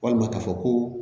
Walima k'a fɔ ko